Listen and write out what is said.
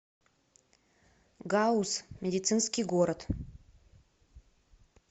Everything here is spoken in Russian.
гауз медицинский город